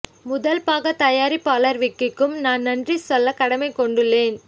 முதல் பாக தயாரிப்பாளர் விக்கிக்கும் நான் நன்றி சொல்ல கடமை கொண்டுள்ளேன்